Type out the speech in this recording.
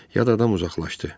Ya da adam uzaqlaşdı.